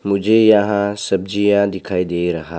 मुझे यहां सब्जियां दिखाई दे रहा।